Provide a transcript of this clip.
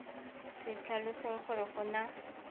se tlhalosang gore go na